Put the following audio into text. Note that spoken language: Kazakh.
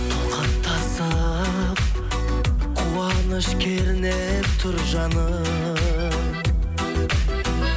толқын тасып қуаныш кернеп тұр жаным